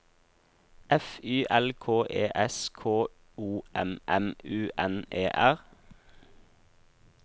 F Y L K E S K O M M U N E R